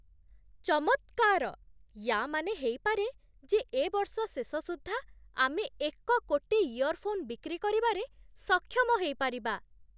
ଚମତ୍କାର! ୟା'ମାନେ ହେଇପାରେ ଯେ ଏ ବର୍ଷ ଶେଷ ସୁଦ୍ଧା ଆମେ ଏକ କୋଟି ଇୟର୍‌ଫୋନ୍ ବିକ୍ରି କରିବାରେ ସକ୍ଷମ ହେଇପାରିବା!